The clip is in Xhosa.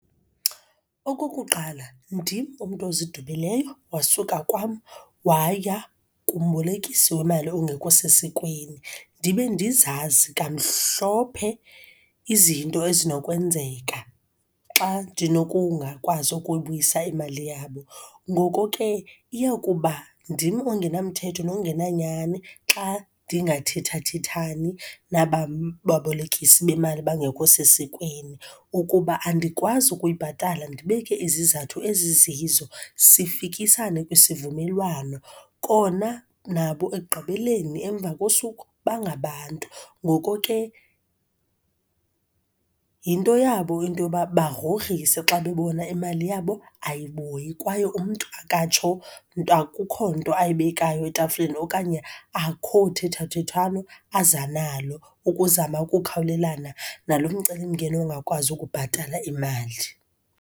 Okokuqala, ndim umntu ozidubileyo, wasuka kwam waya kumbolekisi wemali ongekho sesikweni ndibe ndizazi kamhlophe izinto ezinokwenzeka xa ndinokungakwazi ukuyibuyisa imali yabo. Ngoko ke, iya kuba ndim ongenamthetho nongenanyani xa ndingathethathethani nabam babolekisi bemali bangekho sesikweni. Ukuba andikwazi ukuyibhatala ndibeke izizathu ezizizo, sifikisane kwisivumelwano, kona nabo ekugqibeleni, emva kosuku, bangabantu. Ngoko ke, yinto yabo into yoba bagrogrise xa bebona imali yabo ayibuyi kwaye umntu akatsho nto, akukho nto ayibeka etafileni okanye akho thethathethwano aza nalo ukuzama ukukhawulelana nalo mcelimngeni wongakwazi ukubhatala imali.